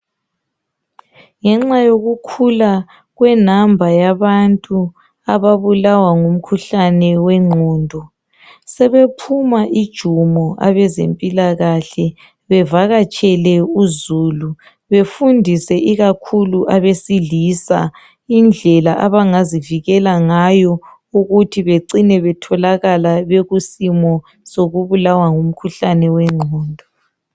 Ngenxa yokukhula kwenumber yabantu ababulawa ngumkhuhlane wegqondo sebephuma ijumo abezempilakahle bevakatshele uzulu befundise ikakhulu abesilisa. Indlela abangazivikela ngayo ukuthi becine betholakala bekusimo sokubulawa ngumkhuhlane wengqondo.